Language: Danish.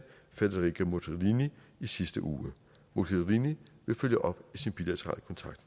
federica morgherini i sidste uge hun vil følge op i sin bilaterale kontakt